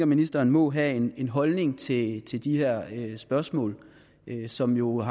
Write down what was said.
ministeren må have en en holdning til til de her spørgsmål som jo er